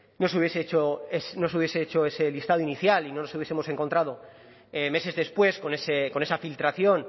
no se hubiese hecho ese listado inicial y no nos hubiesemos encontrado meses después con esa filtración